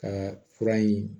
Ka fura ɲi